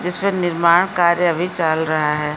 जिस पे निर्माण कार्य अभी चल रहा है।